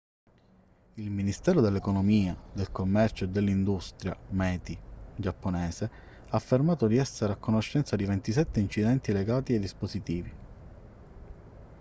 il ministero dell'economia del commercio e dell'industria meti giapponese ha affermato di essere a conoscenza di 27 incidenti legati ai dispositivi